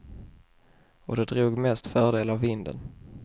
Och de drog mest fördel av vinden.